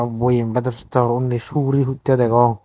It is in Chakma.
boyem bedor sedor undi suguri huttay degong.